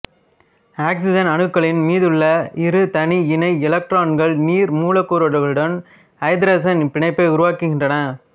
oxygen அணுக்களின் மீதுள்ள இரு தனி இணை எலக்ட்ரான்கள் நீர் மூலக்கூறுகளுடன் ஐதரசன் பிணைப்பை உருவாக்குகின்றன